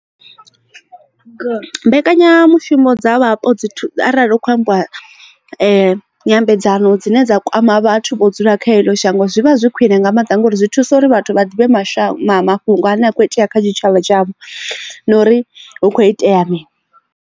Mbekanyamushumo dza vhapo dzi arali u kho ambiwa nyambedzano dzine dza kwama vhathu vho dzula kha eḽo shango zwivha zwi khwiṋe nga maanḓa ngauri zwi thusa uri vhathu vha ḓivhe mashamba mafhungo ane a kho itea kha tshitshavha tshavho na uri hu kho itea mini.